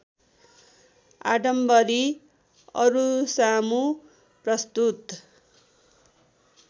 आडम्बरी अरूसामु प्रस्तुत